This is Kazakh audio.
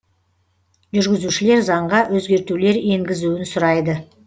жүргізушілер заңға өзгертулер енгізуін сұрайды